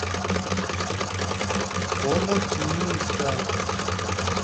омутнинска